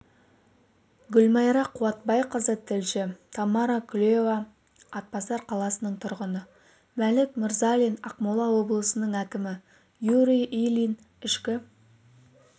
гүлмайра қуатбайқызы тілші тамара кулева атбасар қаласының тұрғыны мәлік мырзалин ақмола облысының әкімі юрий ильин ішкі